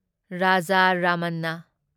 Raja Ramanna